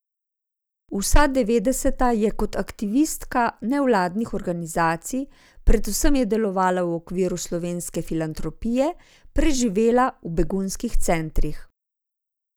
Vsa devetdeseta je kot aktivistka nevladnih organizacij, predvsem je delovala v okviru Slovenske filantropije, preživela v begunskih centrih.